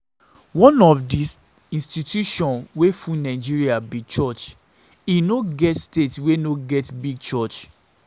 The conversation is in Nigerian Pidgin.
One of the institution wey full Nigeria be church. E no get state wey no get big church